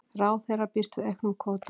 Ráðherra býst við auknum kvóta